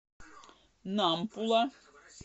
нампула